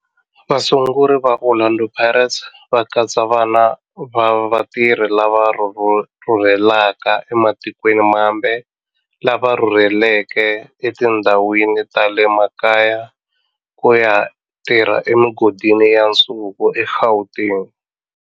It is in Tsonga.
Vasunguri va Orlando Pirates va katsa vana va vatirhi lava rhurhelaka ematikweni mambe lava rhurheleke etindhawini ta le makaya ku ya tirha emigodini ya nsuku eGauteng.